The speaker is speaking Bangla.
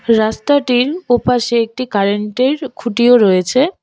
রাস্তাটির ওপাশে একটি কারেন্টের খুঁটিও রয়েছে।